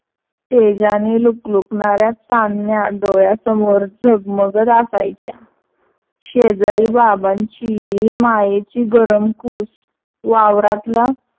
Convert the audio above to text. तेजाने लूकलूकनाऱ्या चांदण्या डोळ्यासमोर झगमगत असायच्या. शेजारी बाबांची, मायेची गरम कूस वावरातला